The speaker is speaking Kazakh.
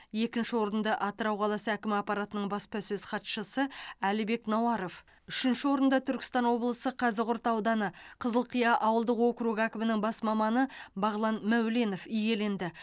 екінші орынды атырау қаласы әкімі аппаратының баспасөз хатшысы әлібек науаров үшінші орынды түркістан облысы қазығұрт ауданы қызылқия ауылдық округі әкімінің бас маманы бағлан мәуленов иеленді